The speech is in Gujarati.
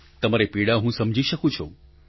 તમારી પીડા હું સમજી શકું છું